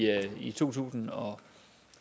i to tusind og